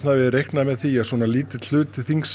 hafi reiknað með því að svo lítill hluti þings